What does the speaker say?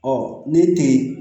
ne te yen